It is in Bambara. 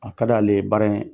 A ka d'ale ye baara in